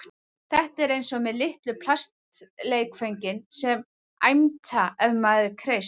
Þetta er eins og með litlu plastleikföngin sem æmta ef maður kreist